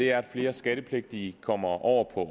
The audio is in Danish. er at flere skattepligtige kommer over på